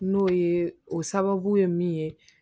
N'o ye o sababu ye min ye